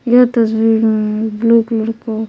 यह तस्वीर um blue colour का--